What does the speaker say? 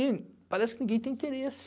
E parece que ninguém tem interesse.